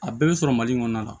A bɛɛ bɛ sɔrɔ mali kɔnɔ la